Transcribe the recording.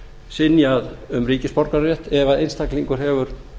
synjað um ríkisborgararétt ef einstaklingur hefur